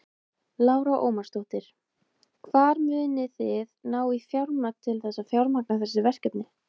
Lára Ómarsdóttir: Hvar munið þið ná í fjármagn til þess að fjármagna þessi verkefni?